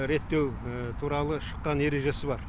реттеу туралы шыққан ережесі бар